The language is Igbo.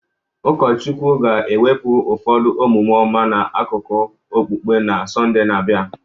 Ụkọchukwu ga-ewepụ ụfọdụ omume ọma n'akụkọ okpukpe na Sọnde na-abịa